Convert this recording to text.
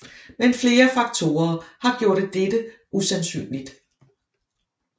Men flere faktorer har gjort dette usandsynligt